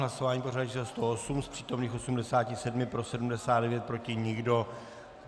Hlasování pořadové číslo 108, z přítomných 87 pro 79, proti nikdo.